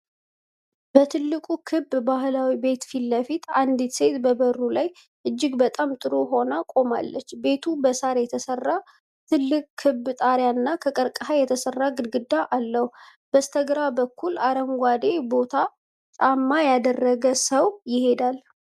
በትልቁ ክብ ባህላዊ ቤት ፊት ለፊት አንዲት ሴት በበሩ ላይ እጅግ በጣም ጥሩ ሆና ቆማለች። ቤቱ በሳር የተሰራ ትልቅ ክብ ጣራና ከቀርከሃ የተሰራ ግድግዳ አለው። በስተግራ በኩል አረንጓዴ ቦት ጫማ ያደረገ ሰው ይሄዳል።